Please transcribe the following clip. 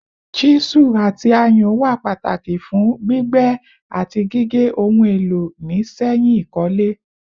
Chisu ati ayùn wà Pataki fun gbígbẹ ati gige ohun elo ni sẹyìn ikole